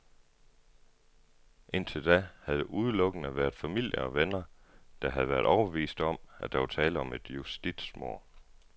Indtil da havde det udelukkende været familie og venner, der havde været overbeviste om, at der var tale om et justitsmord.